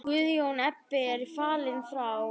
Guðjón Ebbi er fallinn frá.